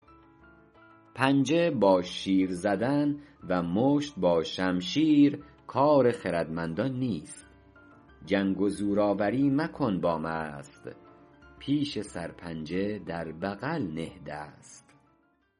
پنجه با شیر زدن و مشت با شمشیر کار خردمندان نیست جنگ و زورآوری مکن با مست پیش سرپنجه در بغل نه دست